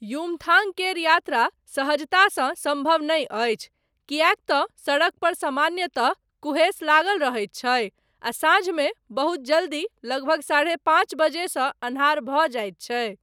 युमथाङ्ग केर यात्रा सहजतासँ सम्भव नहि अछि, किएक तँ सड़कपर सामान्यतः कुहेस लागल रहैत छैक, आ साँझमे, बहुत जल्दी, लगभग साढ़े पाञ्च बजेसँ अन्हार भऽ जाइत छैक।